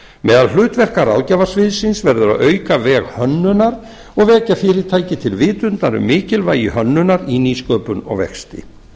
meðal hlutverka ráðgjafarsviðsins verður að auka veg hönnunar og vekja fyrirtæki til vitundar um mikilvægi hönnunar í nýsköpun og vexti